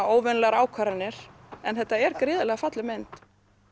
óvenjulegar ákvarðanir en þetta er gríðarlega falleg mynd